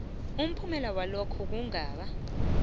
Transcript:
umphumela walokhu kungaba